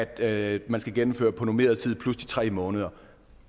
at man skal gennemføre på normeret tid plus de tre måneder